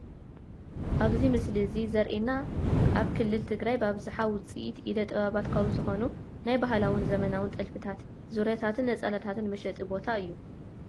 ኣብዚ ምስሊ እዚ ዘሪኤና ኣብ ክልል ትግራይ ብኣብዛሓ ውፅኢት ኢደ- ጥበባት ካብ ዝኾኑ ናይ ባህላውን ዘበናውን ጥልፍታት፣ ዙርያታትን ነፀላታትን መሸጢ ቦታ እዩ፡፡